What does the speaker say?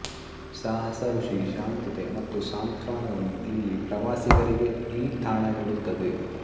ಸಾಹಸ ಖುಷಿ ಶಾಂತತೆ ಮತ್ತು ಸಾಂತ್ವನವನ್ನು ಇಲ್ಲಿ ಪ್ರವಾಸಿಗರಿಗೆ ಈ ತಾಣ ನೀಡುತ್ತದೆ